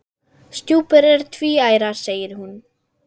Stjúpur eru tvíærar segir hún.